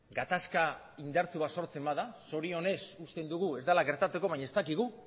gatazka indartsu bat sortzen bada zorionez uste dugu ez dela gertatuko baina ez dakigu